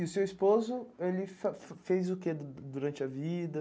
E o seu esposo, ele fa fez o que durante a vida?